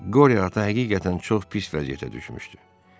Qorya ata həqiqətən çox pis vəziyyətə düşmüşdü.